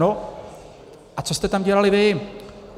No a co jste tam dělali vy?